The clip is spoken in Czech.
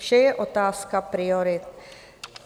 Vše je otázka priorit."